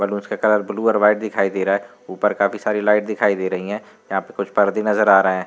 Balloons का colour blue और white दिखाई दे रहा है ऊपर काफी सारी लाइट दिखाई दे रही है यहाँ पे कुछ पर्दे नजर आ रहे हैं।